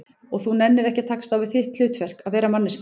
Og þú nennir ekki að takast á við þitt hlutverk, að vera manneskja?